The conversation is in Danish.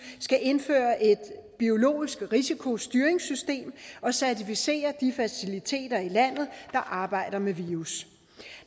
skal indføre et biologisk risikostyringssystem og certificere de faciliteter i landet der arbejder med virus